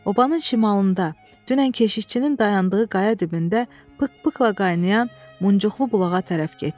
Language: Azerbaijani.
Obanın şimalında, dünən keşikçinin dayandığı qaya dibində pıqq-pıqqla qaynayan, muncuqulu bulağa tərəf getdi.